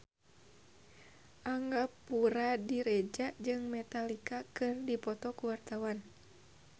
Angga Puradiredja jeung Metallica keur dipoto ku wartawan